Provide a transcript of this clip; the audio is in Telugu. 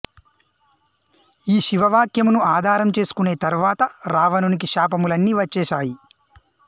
ఈ శివ వాక్యమును ఆధారం చేసుకునే తరువాత రావణునికి శాపములన్నీ వచ్చేశాయి